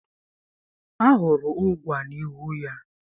Ahụrụ ụgwa n'ihu ya.